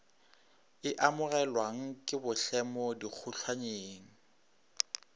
e amogelwang ke bohlemo dikgotlhannyeng